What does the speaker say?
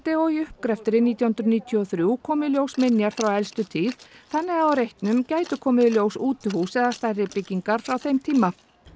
og í uppgreftri nítján hundruð níutíu og þrjú komu í ljós minjar frá elstu tíð þannig að á reitnum gætu komið í ljós útihús eða stærri byggingar frá þeim tíma